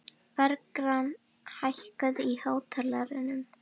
Bergrán, hækkaðu í hátalaranum.